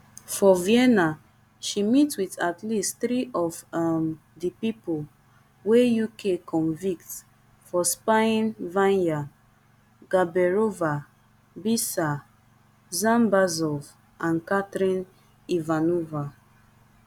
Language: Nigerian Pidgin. for vienna she meet wit at least three of um di pipo wey uk convict for spyingvanya gaberova biser dzhambazov and katrin ivanova